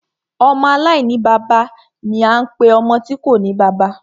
Ọmọ aláìní bàbá ni a ń pe ọmọ tí kòní bàbá.